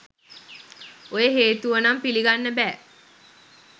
ඔය හේතුව නං පිලිගන්න බෑ.